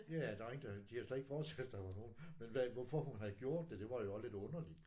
Ja der var ingen der de havde slet ikke forestillet sig der var nogen men hvad hvorfor hun havde gjort det det var jo også lidt underligt